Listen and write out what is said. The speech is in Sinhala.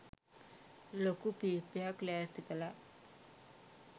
ලොකු පීප්පයක් ලෑස්ති කලා.